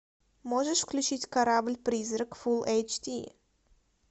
можешь включить корабль призрак фул эйч ди